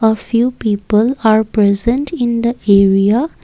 a few people are present in the area.